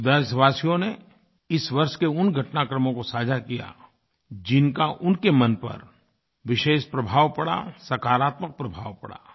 कुछ देशवासियों ने इस वर्ष के उन घटनाक्रमों को साझा किया जिनका उनके मन पर विशेष प्रभाव पड़ा सकारात्मक प्रभाव पड़ा